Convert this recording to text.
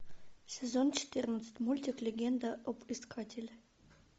сезон четырнадцать мультик легенда об искателе